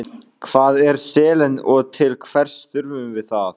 Hvað er selen og til hvers þurfum við það?